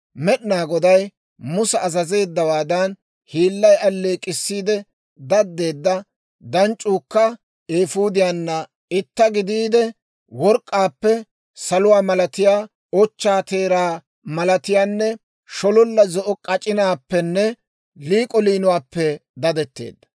Med'inaa Goday Musa azazeeddawaadan, hiillay alleek'k'issiide daddeedda danc'c'uukka eefuudiyanna itta gidiide, work'k'aappe saluwaa malatiyaa, ochchaa teeraa malatiyaanne shololla zo'o k'ac'inaappenne liik'o liinuwaappe dadetteedda.